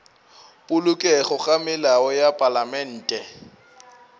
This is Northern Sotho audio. polokego ga melao ya palamente